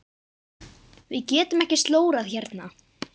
Við getum ekki slórað hérna.